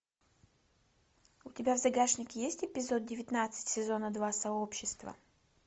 у тебя в загашнике есть эпизод девятнадцать сезона два сообщество